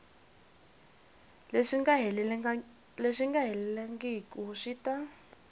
leswi nga helelangiku swi ta